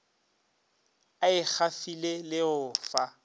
a ikgafile le go fa